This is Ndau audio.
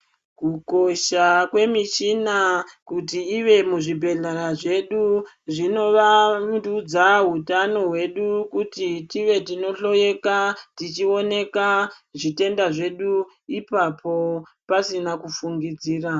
Kukosha kwemichina kuti ive muzvigwehlera zvedu zvinowandudza hutano wedu kuti tive tinohloweka tichioneka zvitenda zvedu ipapo pasina kufungidzira.